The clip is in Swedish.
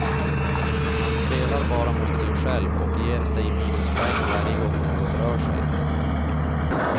Man spelar bara mot sig själv och ger sig minuspoäng varje gång något rör sig.